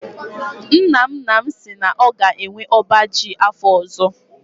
Nna nna m si na ọ ga-enwe ọba ji afọ ọzọ.